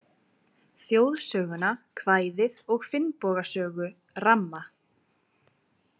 Þjóðsöguna, kvæðið og Finnboga sögu ramma.